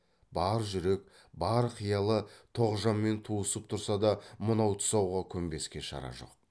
бар жүрек бар қиялы тоғжанмен туысып тұрса да мынау тұсауға көнбеске шара жоқ